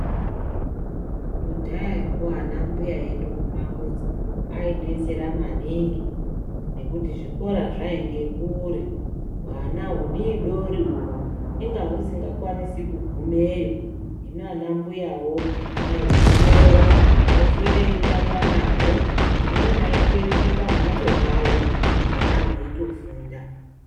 Kudhayako ana mbuya edu mumamizi aidetsera maningi nekuti zvikora zvainge kure, hwana hudodori uhwo inga husika kwanisi kugumeyo, hino ana mbuyawo aihutora oswere eitamba nahwo, pamweni aitoitire pamhatso pawo hwana hweitofunda.